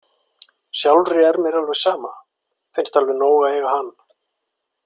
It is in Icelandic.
Sjálfri er mér alveg sama, finnst alveg nóg að eiga hann.